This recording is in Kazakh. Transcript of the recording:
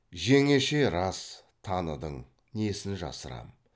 жеңеше рас таныдың несін жасырам